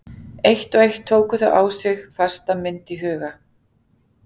Eitt og eitt tóku þau á sig fasta mynd í huga